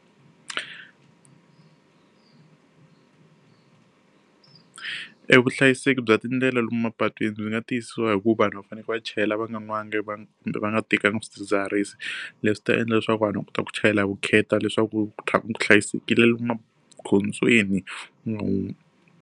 Evuhlayiseki bya tindlela lomu mapatwini ndzi nga tiyisisa hi ku va vanhu va fanekele va chayela va nga nwanga va kumbe va nga tekanga swidzidziharisi. Leswi ta endla leswaku vanhu va kota ku chayela hi vukheta leswaku ku tlhela ku va hlayisekile lomu magondzweni .